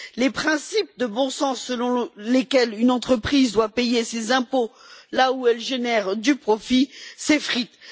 Les principes de bon sens, selon lesquels une entreprise doit payer ses impôts là où elle génère du profit s'effritent.